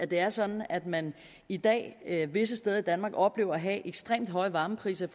det er sådan at man i dag visse steder i danmark oplever at have ekstremt høje varmepriser i